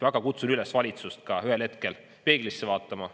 Väga kutsun üles valitsust ka ühel hetkel peeglisse vaatama.